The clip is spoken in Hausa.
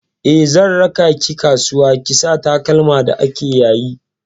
Eh, zan raka ki kasuwa ki saya takalma da ake yayi.